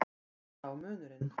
Þar lá munurinn.